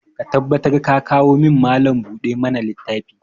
Ka tabbatar ka kawo min Mallam buɗe ma na littafi!